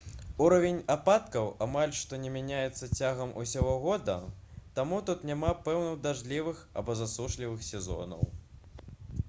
узровень ападкаў амаль што не мяняецца цягам усяго года таму тут няма пэўных дажджлівых або засушлівых сезонаў